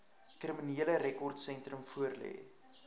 kriminele rekordsentrum voorlê